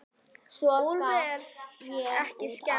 Úlfi er ekki skemmt.